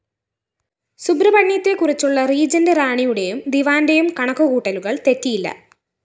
സുബ്രഹ്മണ്യത്തെക്കുറിച്ചുള്ള regent റാണിയുടെയും ദിവാന്റെയും കണക്കുകൂട്ടലുകള്‍ തെറ്റിയില്ല